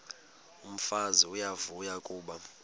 umfazi uyavuya kuba